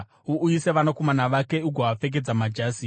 Uuyise vanakomana vake ugovapfekedza majasi.